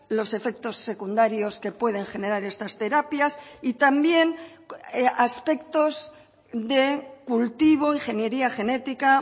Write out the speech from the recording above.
los efectos secundarios que pueden generar estas terapias y también aspectos de cultivo ingeniería genética